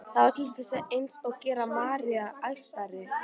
Það varð til þess eins að gera Maríu enn æstari.